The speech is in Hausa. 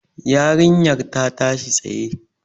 Yarinyar ta tashi tsaye.